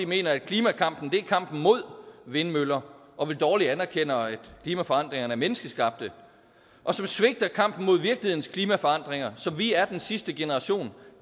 mener at klimakampen er kampen mod vindmøller og vel dårligt anerkender at klimaforandringerne er menneskeskabte og som svigter kampen mod virkelighedens klimaforandringer som vi er den sidste generation